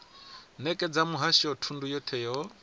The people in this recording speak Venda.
nekedza muhasho thundu yothe yo